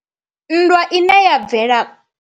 Nndwa ine ya bvela.